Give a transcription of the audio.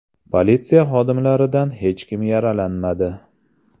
Politsiya xodimlaridan hech kim yaralanmadi.